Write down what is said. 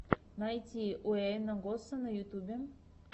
найти уэйна госса на ютубе